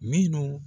Minnu